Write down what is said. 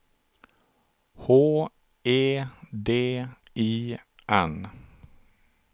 H E D I N